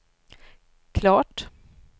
klart